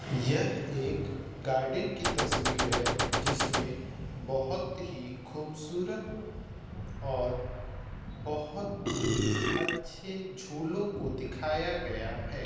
यह एक गार्डन की तस्वीर है जिसमें बहुत ही खूबसूरत और बहुत ही अच्छे झूलों को दिखाया गया है ।